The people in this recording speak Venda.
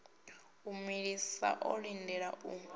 a mulisa o lindela u